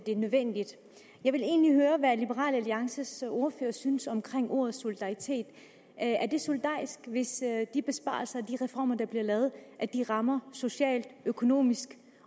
det er nødvendigt jeg vil egentlig høre hvad liberal alliances ordfører synes om ordet solidaritet er det solidarisk hvis de besparelser og de reformer der bliver lavet rammer socialt økonomisk